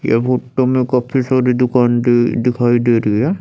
यह फोटो में काफी सारी दुकान दे दिखाई दे रही है।